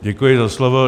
Děkuji za slovo.